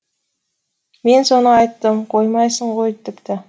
мен соны айттым қоймайсың ғой тіпті